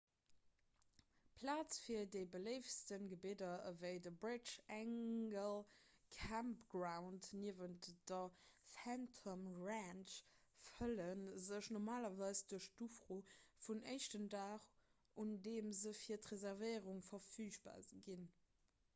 plaz fir déi beléiftst gebidder ewéi de bright angel campground niewent der phantom ranch fëlle sech normalerweis duerch d'ufroe vum éischten dag un deem se fir reservéierunge verfügbar ginn